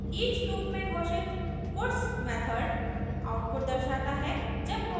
each loop में घोषित puts method output दर्शाता है